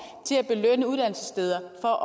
og